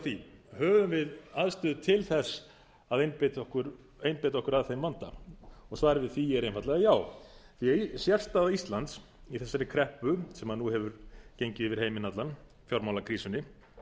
því höfum við aðstöðu til þess að einbeita okkur að þeim vanda svarið við því er einfaldlega já því sérstaða íslands í þessari kreppu sem nú hefur gengið yfir allan heiminn fjármálakrísunni